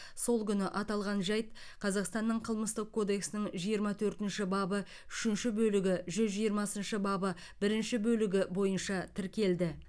сол күні аталған жайт қазақстанның қылмыстық кодексінің жиырма төртінші бабы үшінші бөлігі жүз жиырмасыншы бабы бірінші бөлігі бойынша тіркелді